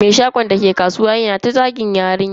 Mai shagon dake kasuwa yana ta zagin yarinyar.